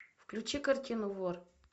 включи картину вор